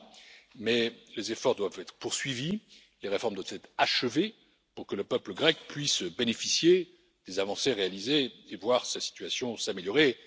sont là mais les efforts doivent être poursuivis, les réformes doivent être achevées pour que le peuple grec puisse bénéficier des avancées réalisées et voir sa situation s'améliorer.